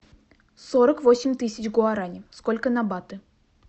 сорок восемь тысяч гуарани сколько на баты